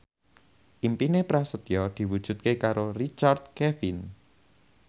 impine Prasetyo diwujudke karo Richard Kevin